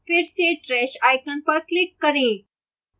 फिर से trash icon पर click करें